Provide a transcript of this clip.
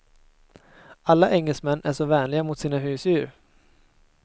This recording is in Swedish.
Alla engelsmän är så vänliga mot sina husdjur.